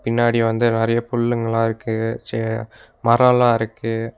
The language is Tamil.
பின்னாடி வந்து நெறைய புல்லுங்கெல்லா இருக்கு சே மரோல்லா இருக்கு.